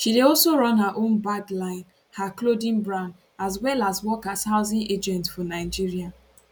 she dey also run her own bag line her clothing brand as well as work as housing agent for nigeria